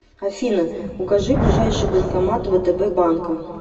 афина укажи ближайший банкомат втб банка